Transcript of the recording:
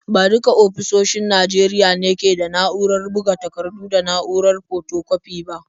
Ba duka ofisoshin Najeriya ne ke da na’urar buga takardu da na’urar fotokwafi ba.